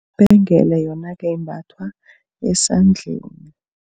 Ibhengele yona-ke imbathwa esandleni.